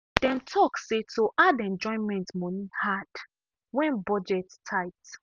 dem talk say to add enjoyment money hard when budget tight.